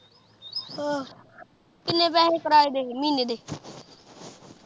ਅਹ ਕਿੰਨੇ ਕਰਾਏ ਦੇ ਮਹੀਨੇ ਦੇ।